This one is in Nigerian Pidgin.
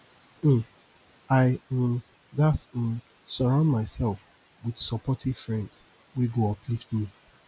um i um gats um surround myself with supportive friends wey go uplift me